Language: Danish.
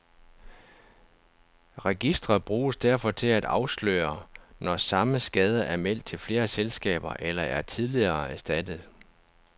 Registret bruges derfor til at afsløre, når samme skade er meldt til flere selskaber eller er tidligere erstattet.